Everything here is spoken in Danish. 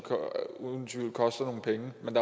uden tvivl koster nogle penge men